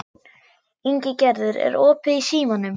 Ingigerður, er opið í Símanum?